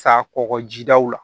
Sa kɔkɔ jidaw la